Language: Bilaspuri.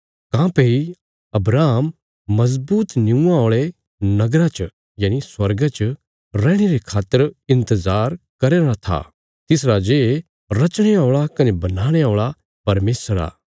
काँह्भई अब्राहम मजबूत निऊंआं औल़े नगरा च स्वर्गा च रैहणे रे खातर इन्तजार करया राँ था तिस राजे रचणे औल़ा कने बनाणे औल़ा परमेशर आ